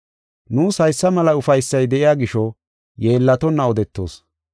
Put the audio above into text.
Nuus haysa mela ufaysay de7iya gisho, yeellatonna odetoos.